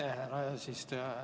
Aitäh, härra eesistuja!